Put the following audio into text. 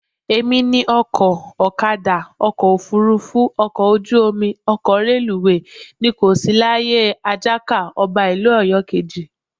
Èmi ni ọkọ̀, ọ̀kadà, ọkọ̀ òfuurufú, ọkọ ojú omi, ọkọ̀ reluwé, ni kò sí láyé Àjàká, ọba ìlú Ọ̀yọ́ kejì